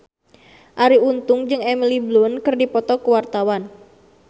Arie Untung jeung Emily Blunt keur dipoto ku wartawan